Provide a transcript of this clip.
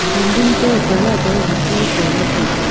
building to colour e hacho pola taiga.